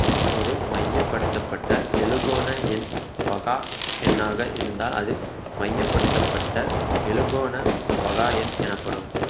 ஒரு மையப்படுத்தப்பட்ட எழுகோண எண் பகா எண்ணாக இருந்தால் அது மையப்படுத்தப்பட்ட எழுகோண பகா எண் எனப்படும்